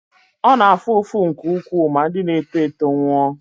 ọ na-afụ ụfụ nke ukwuu ma ndị na-eto eto nwụọ